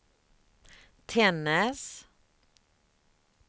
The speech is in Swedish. Tännäs